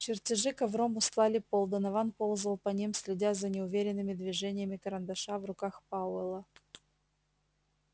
чертежи ковром устлали пол донован ползал по ним следя за неуверенными движениями карандаша в руках пауэлла